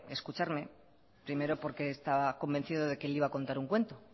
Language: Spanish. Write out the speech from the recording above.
escucharme primero porque estaba convencido de que le iba a contar un cuento